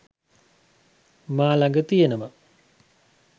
මා ළඟ තියෙනවා